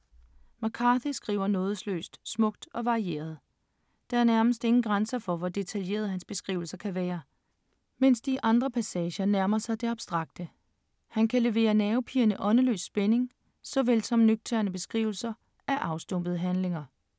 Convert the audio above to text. McCarthy skriver nådesløst, smukt og varieret. Der er nærmest ingen grænser for, hvor detaljerede hans beskrivelser kan være, mens de i andre passager nærmer sig det abstrakte. Han kan levere nervepirrende, åndeløs spænding, såvel som nøgterne beskrivelser af afstumpede handlinger.